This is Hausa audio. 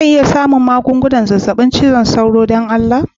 Zan iya samun wasu magungunan zazzabin cizon sauro a can don Allah?.